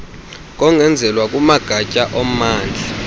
kongezelelwa kumagatya ommandla